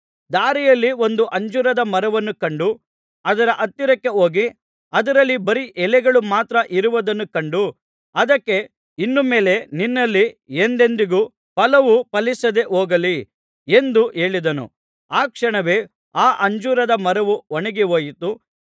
ದಾರಿಯಲ್ಲಿ ಒಂದು ಅಂಜೂರದ ಮರವನ್ನು ಕಂಡು ಅದರ ಹತ್ತಿರಕ್ಕೆ ಹೋಗಿ ಅದರಲ್ಲಿ ಬರೀ ಎಲೆಗಳು ಮಾತ್ರ ಇರುವುದನ್ನು ಕಂಡು ಅದಕ್ಕೆ ಇನ್ನು ಮೇಲೆ ನಿನ್ನಲ್ಲಿ ಎಂದೆಂದಿಗೂ ಫಲವು ಫಲಿಸದೆ ಹೋಗಲಿ ಎಂದು ಹೇಳಿದನು ಆ ಕ್ಷಣವೇ ಆ ಅಂಜೂರದ ಮರವು ಒಣಗಿಹೋಯಿತು